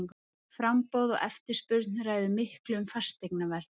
Framboð og eftirspurn ræður miklu um fasteignaverð.